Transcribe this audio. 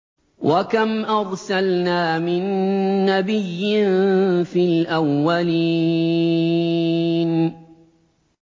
وَكَمْ أَرْسَلْنَا مِن نَّبِيٍّ فِي الْأَوَّلِينَ